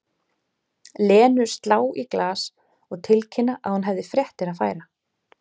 Lenu slá í glas og tilkynna að hún hefði fréttir að færa.